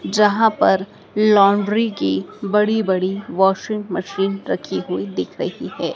जहां पर लाउंड्री की बड़ी बड़ी वाशिंग मशीन रखी हुई दिख रही है।